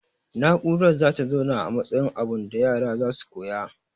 Na'urar zata zauna a matsayin abunda yara zasu koya